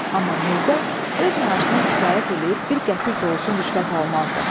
Amma Mirzə öz maaşına kifayət eləyib bir qəpik də olsun rüşvət almazdı.